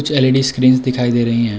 कुछ LED screens दिखाई दे रहीं हैं।